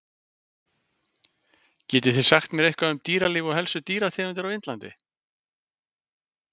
Getið þið sagt mér eitthvað um dýralíf og helstu dýrategundir á Indlandi?